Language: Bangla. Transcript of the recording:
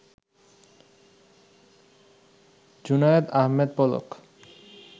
জুনায়েদ আহমেদ পলক